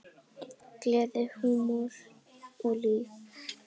Gleði, húmor og líf.